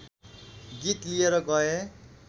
गीत लिएर गए